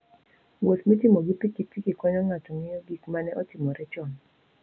Wuoth mitimo gi pikipiki konyo ng'ato ng'eyo gik ma ne otimore chon.